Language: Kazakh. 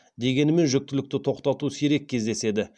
дегенімен жүктілікті тоқтату сирек кездеседі